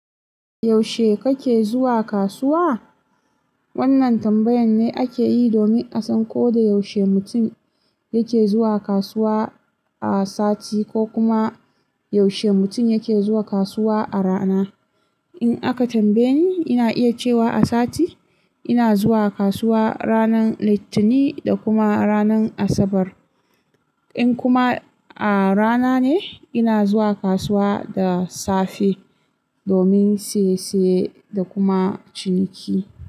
Yaushe kake zuwa kasuwa? Wannan tambayan ne ake yi domin a san ko da yaushe mutum yake zuwa kasuwa a sati ko kuma yaushe mutum yake zuwa kasuwa a rana. In aka tambaye ni, ina iya cewa a sati ina zuwa kasuwa ranar Litinin da kuma ranar Asabar. In kuma a rana ne, ina zuwa kasuwa da safe domin saye saye da kuma ciniki.